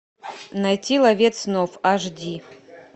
найти ловец снов аш ди